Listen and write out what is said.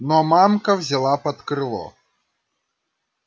но мамка взяла под крыло